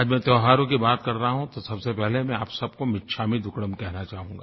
आज मैं त्योहारों की बात कर रहा हूँ तो सबसे पहले मैं आप सबको मिच्छामि दुक्कड़म कहना चाहूँगा